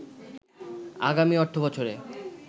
আগামি অর্থবছরে